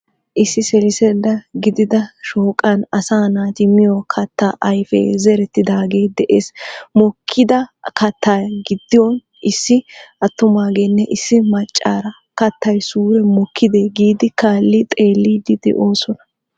Issi seliseeda giidida shooqan asaa naati miyo kaatta ayife zereetidaage de'ees. mookkida kaatta giidon issi attummagenne issi maccaara kaattayi suure mookiide giidi kaalli xeellidi de'oosona.